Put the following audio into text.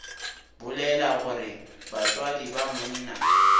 bolela gore batswadi ba monna